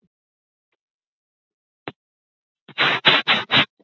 Þegar svörtu hundarnir eru ekki að sækja á mig.